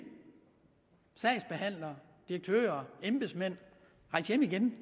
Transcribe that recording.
sagsbehandlere direktører embedsmænd rejs hjem igen